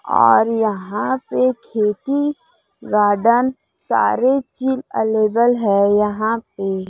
और यहां पे खेती गार्डन सारे चीज अलेबल है यहां पे --